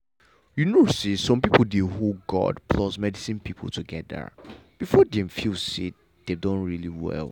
you know say some people dey hold god plus medicine people together before dem feel say dem don really well.